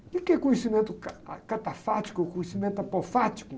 O quê que é conhecimento ca ah, catafático, conhecimento apofático?